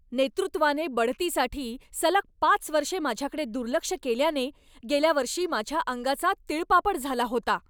नेतृत्वाने बढतीसाठी सलग पाच वर्षे माझ्याकडे दुर्लक्ष केल्याने गेल्या वर्षी माझ्या अंगाचा तिळपापड झाला होता.